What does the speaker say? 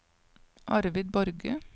Arvid Borge